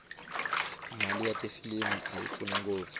mali ya tifilimu ayi pfuni ngopfu